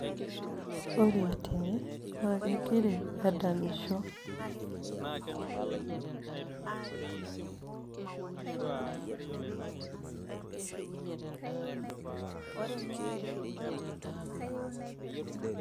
ore tene naa kegira adamisho